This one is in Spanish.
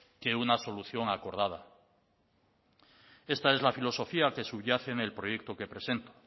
que una solución acordada esta es la filosofía que subyace en el proyecto que presento